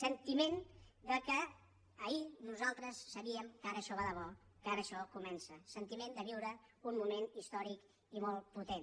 sentiment que ahir nosaltres sabíem que ara això va de bo que ara això comença sentiment de viure un moment històric i molt potent